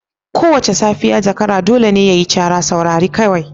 Kowace safiya zakara dole ne ya yi cara. Saurari kawai.